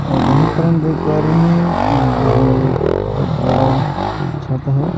और यहां पर हम देख पा रहे हैं कि यहां एक बहुत बड़ा छत है।